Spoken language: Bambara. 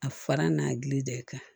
A fara n'a gili de kan